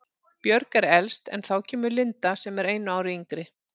Björg er elst en þá kemur Linda sem er einu ári yngri.